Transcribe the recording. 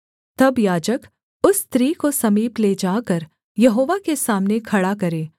तब याजक उस स्त्री को समीप ले जाकर यहोवा के सामने खड़ा करे